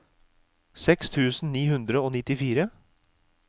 seks tusen ni hundre og nittifire